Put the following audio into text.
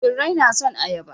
Birrai na son ayaba.